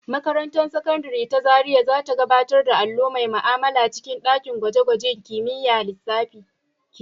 Makarantar Sakandare ta Zariya za ta gabatar da allo mai ma'amala a cikin ɗakin gwaje-gwajen kimiyyar lissafi.